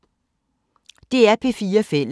DR P4 Fælles